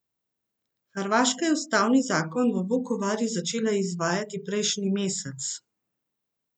Hrvaška je ustavni zakon v Vukovarju začela izvajati prejšnji mesec.